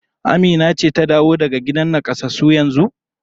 Amina ce ta dawo daga gidan nakasassu yanzu?